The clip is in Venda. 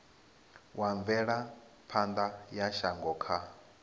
wa mvelaphana ya shango kha